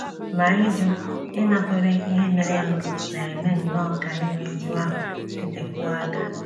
Ma ịjụ ịnakwere ihe merenụ na - eme nnọọ ka iru újú ahụ dịtekwuo aka. ’